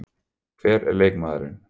Hver er leikmaðurinn?